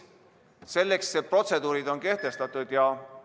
Selleks on protseduurid kehtestatud ja ...